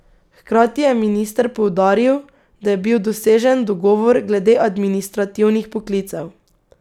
Hkrati je minister poudaril, da je bil dosežen dogovor glede administrativnih poklicev.